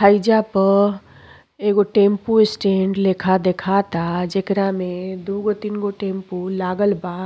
हइजा पर एगो टेंपू स्टैन्ड लेखा देखाता जेकरा मे दुगो- तीन गो टेंपू लागल बा।